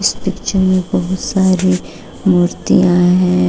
Picture में बहुत सारी मूर्तियां है।